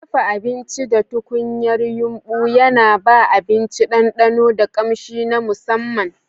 Dafa abinci da tukunyar yumbu yana ba abinci ɗanɗano da ƙamshi na musamman.